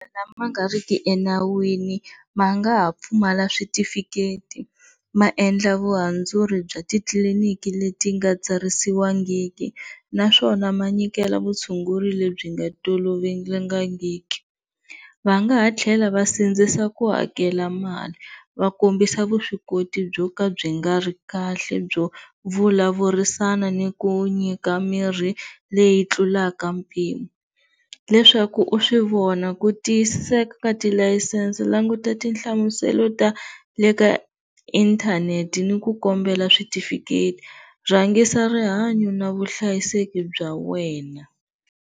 Madokodela lama nga riki enawini ma nga ha pfumala switifiketi maendla vuhandzuri bya titliliniki leti nga tsarisiwangiku naswona ma nyikela vutshunguri lebyi nga tolovelekangiki, va nga ha tlhela va sindzisa ku hakela mali va kombisa vuswikoti byo ka byi nga ri kahle byo vulavurisana ni ku nyika mirhi leyi tlulaka mpimo, leswaku u swivona ku tiyisiseka ka tilayisense languta tinhlamuselo ta le ka inthanete ni ku kombela switifiketi, rhangisa rihanyo ni vuhlayiseki bya wena.